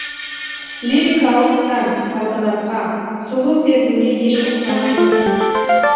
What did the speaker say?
лирикалық сән салтанатқа сұлу сезімге еш ұқсамайды